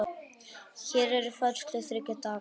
Hér eru færslur þriggja daga.